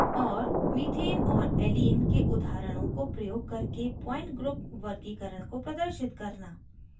और methane और allene के उदाहरणों को प्रयोग करके point group वर्गीकरण को प्रदर्शित करना